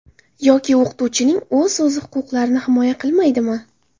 Yoki o‘qituvchining o‘zi o‘z huquqlarini o‘zi himoya qilmaydimi?